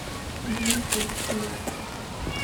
где находится лофт